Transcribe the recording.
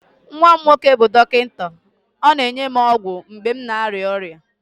nwa m nwoke bụ dọkịta, ọ na-enye m ọgwụ mgbe m na-arịa ọrịa